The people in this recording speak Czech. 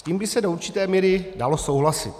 S tím by se do určité míry dalo souhlasit.